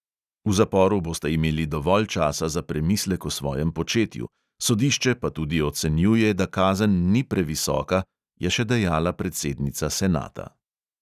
V zaporu boste imeli dovolj časa za premislek o svojem početju, sodišče pa tudi ocenjuje, da kazen ni previsoka, je še dejala predsednica senata.